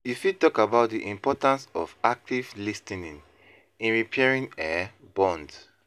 You fit talk about di importance of active lis ten ing in repairing um bonds?